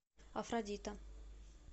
афродита